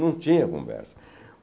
Não tinha conversa.